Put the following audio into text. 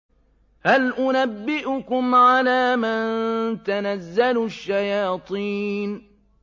هَلْ أُنَبِّئُكُمْ عَلَىٰ مَن تَنَزَّلُ الشَّيَاطِينُ